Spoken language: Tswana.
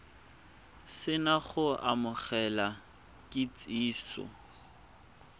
se na go amogela kitsiso